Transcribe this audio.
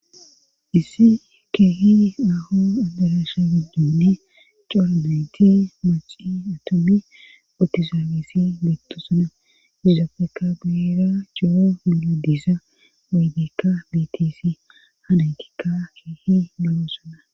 issi keehi nahu aderasha giddinni coro beti maci atommi atizaafesi betto suna uzafeka beira coo yilo diisa aygekka bitisi hanankikka keehi malo suna